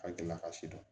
A gɛlɛ ka si dɔn